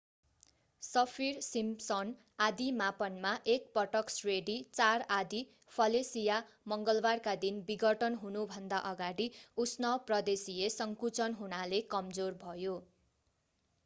Saffir-Simpson आँधी मापनमा एक पटक श्रेणी 4 आँधी फेलिसिया मङ्गलवारका दिन विघटन हुनुभन्दा अगाडि उष्ण प्रदेशिय संकुचन हुनाले कमजोर भयो